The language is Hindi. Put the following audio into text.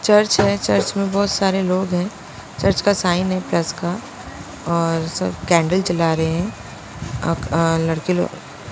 चर्च है चर्च में बहुत सारे लोग हैं चर्च का साइन है प्लस का और सब कैंडल जला रहे हैं लड़के लोग --